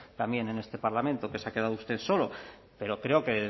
también en este parlamento que se ha quedado usted solo pero creo que